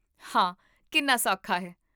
ਹਾਂ, ਕਿੰਨਾ ਸੌਖਾ ਹੈ